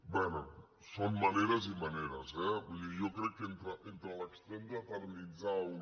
bé són maneres i maneres eh vull dir jo crec que entre l’extrem d’eternitzar una